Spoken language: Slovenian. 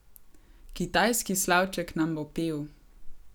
Kitajski slavček nam bo pel.